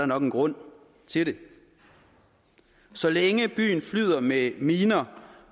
nok en grund til det så længe byen flyder med miner